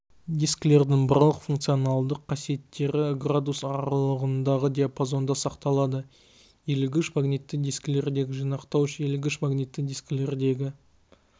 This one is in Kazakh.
дискілердің барлық функционалдық қасиеттері градус аралығындағы диапазонда сақталады иілгіш магнитті дискілердегі жинақтауыш иілгіш магнитті дискілердегі